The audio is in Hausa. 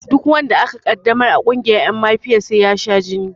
Duk wanda aka ƙaddamar a ƙungiyar ƴan mafiya sai ya sha jini